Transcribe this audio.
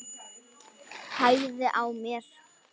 Hægði á mér.